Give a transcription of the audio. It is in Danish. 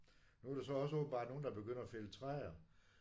Nu er der så åbenbart også nogen der begynder at fælde træer